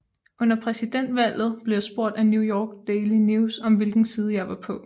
Under præsidentvalget blev jeg spurgt af New York Daily News om hvilken side jeg var på